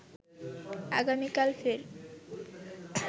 আগামীকাল ফের